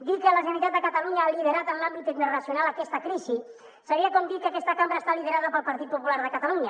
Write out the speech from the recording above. dir que la generalitat de catalunya ha liderat en l’àmbit internacional aquesta crisi seria com dir que aquesta cambra està liderada pel partit popular de catalunya